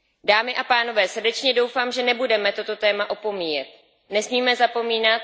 Dámy a pánové, srdečně doufám, že nebudeme toto téma opomíjet.